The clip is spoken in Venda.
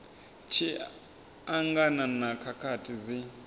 tshi angana na khakhathi dzi